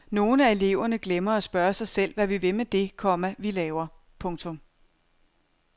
Nogle af eleverne glemmer at spørge sig selv hvad vi vil med det, komma vi laver. punktum